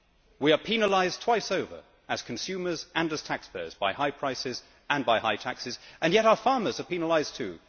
We are penalised twice over as consumers and as taxpayers by high prices and by high taxes, and yet our farmers are penalised too.